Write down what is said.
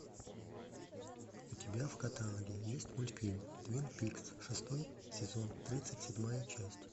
у тебя в каталоге есть мультфильм твин пикс шестой сезон тридцать седьмая часть